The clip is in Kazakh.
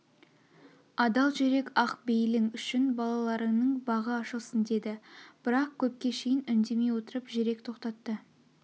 адал жүрек ақ бейлің үшін балаларыңның бағы ашылсын деді бірақ көпке шейін үндемей отырып жүрек тоқтатты